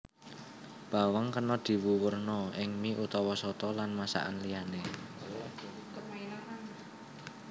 Bawang kena diwuwurna ing mie utawa soto lan masakaan liyané